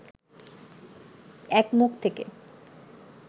এক মুখ থেকে